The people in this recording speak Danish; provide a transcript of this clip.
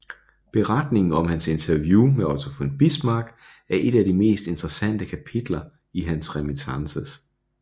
Beretningen om hans interview med Otto von Bismarck er et af de mest interessante kapitler i hans Reminiscences